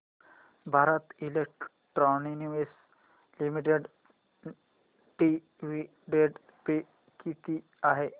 Bharat Electronics Limited dividend pay किती आहे